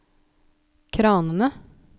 kranene